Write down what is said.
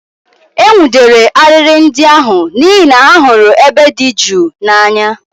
E nwụdere arịrị ndị ahụ n'ihi na ha hụrụ ebe dị jụụ n'anya